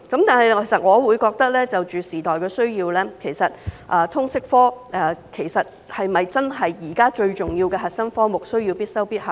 但是，就着時代的需要，其實通識科是否真的是現在最重要的核心科目，需要必修必考呢？